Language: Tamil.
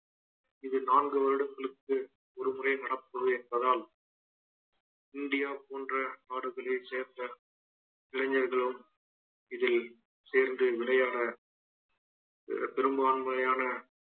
இது நான்கு வருடங்களுக்கு ஒருமுறை நடப்பது என்பதால் இந்தியா போன்ற நாடுகளைச் சேர்ந்த இளைஞர்களும் இதில் சேர்ந்து விளையாட பெரு~ பெரும்பான்மையான